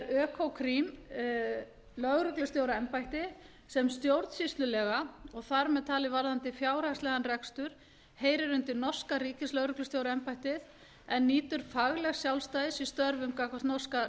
er økokrim lögreglustjóraembætti sem stjórnsýslulega og þar með talin varðandi fjárhagslegan rekstur heyrir undir norska ríkislögreglustjóraembættið en nýtur faglegs sjálfstæðis í störfum gagnvart norska